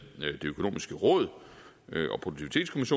det økonomiske råd